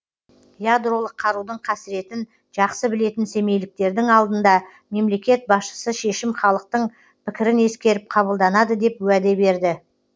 ядролық қарудың қасіретін жақсы білетін семейліктердің алдында мемлекет басшысы шешім халықтың пікірін ескеріп қабылданады деп уәде берді